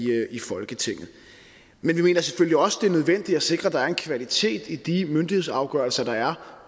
folketinget men vi mener selvfølgelig også at det er nødvendigt at sikre at der er en kvalitet i de myndighedsafgørelser der er